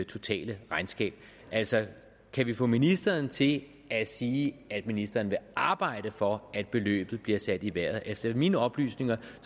totale regnskab altså kan vi få ministeren til at sige at ministeren vil arbejde for at beløbet bliver sat i vejret efter mine oplysninger